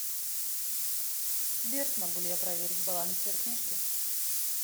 сбер могу ли я проверить баланс сбер книжки